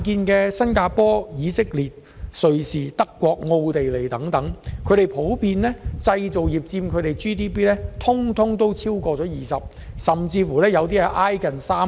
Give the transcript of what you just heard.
在新加坡、以色列、瑞士、德國和奧地利等地，製造業普遍佔當地 GDP 逾 20%， 甚至接近 30%。